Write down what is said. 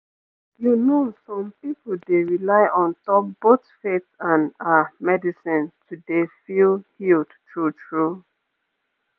you know some pipu dey rely on top both faith and ah medicine to dey feel healed true true